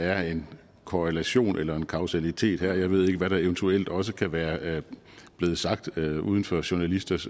er en korrelation eller en kausalitet her jeg ved ikke hvad der eventuelt også kan være blevet sagt uden for journalisters